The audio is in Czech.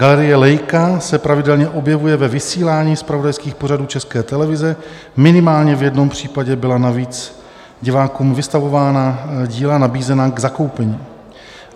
Galerie Leica se pravidelně objevuje ve vysílání zpravodajských pořadů České televize, minimálně v jednom případě byla navíc divákům vystavovaná díla nabízena k zakoupení.